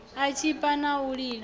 u tshipa na u lila